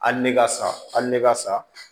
Hali ne ka sa hali ne ka sa